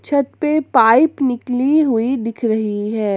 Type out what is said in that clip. छत पे पाइप निकली हुई दिख रही है।